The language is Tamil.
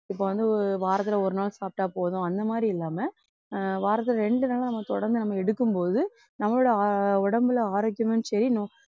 இப்ப வந்து வாரத்துல ஒரு நாள் சாப்பிட்டா போதும் அந்த மாதிரி இல்லாம வாரத்துல ரெண்டு நாளா நம்ம தொடர்ந்து நம்ம எடுக்கும்போது நம்மளோட அஹ் உடம்புல ஆரோக்கியமும் சரி நோ~